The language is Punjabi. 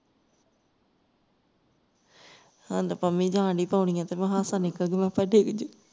ਹੁਣ ਤੇ ਪੰਮੀ ਜਾਣ ਡਈ ਪੌੜੀਆਂ ਤੇ ਮੈਂ ਕਿਹਾ ਹਾਸਾ ਨਿਕਲ ਜਾਊਗਾ ਆ ਪੇ ਡਿੱਗ ਜਾਉ